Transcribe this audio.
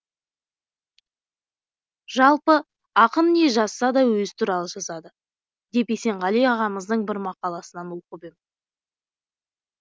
жалпы ақын не жазса да өзі туралы жазады деп есенғали ағамыздың бір мақаласынан оқып ем